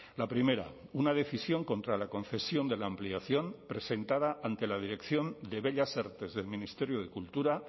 la primera una decisión contra la concesión de la ampliación presentada ante la dirección de bellas artes del ministerio de cultura